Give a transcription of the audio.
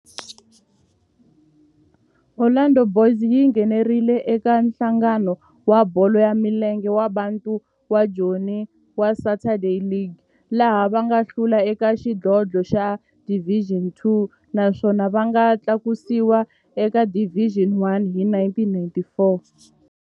Orlando Boys yi nghenelerile eka Nhlangano wa Bolo ya Milenge wa Bantu wa Joni wa Saturday League, laha va nga hlula eka xidlodlo xa Division Two naswona va nga tlakusiwa eka Division One hi 1944.